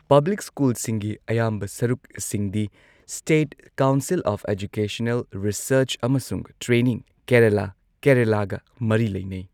Public ꯁ꯭ꯀꯨꯜꯁꯤꯡꯒꯤ ꯑꯌꯥꯝꯕ ꯁꯔꯨꯛꯁꯤꯡꯗꯤ state council of educational research ꯑꯃꯁꯨꯡ ꯇ꯭ꯔꯦꯅꯤꯡ, ꯀꯦꯔꯂꯥ ꯀꯦꯔꯂꯥꯒ ꯃꯔꯤ ꯂꯩꯅꯩ꯫